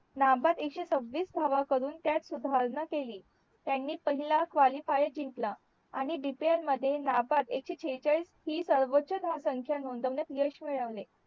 नाबाद एकशे सॅव्हीस धाव करून त्यात सुधारणा केली त्यांनी पहिला Qualifier जिंकला आणि DPL मध्ये नाबाद एकशे शेहेचाळीस हि सर्वोच धाव संख्या नोंदवण्यात यश मिळावले